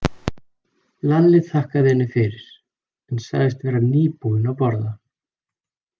Lalli þakkaði henni fyrir, en sagðist vera nýbúinn að borða.